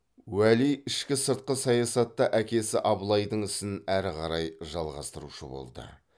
уәли ішкі сыртқы саясатта әкесі абылайдың ісін әрі қарай жалғастырушы болды